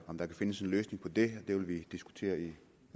om der kan findes en løsning på det det vil vi diskutere i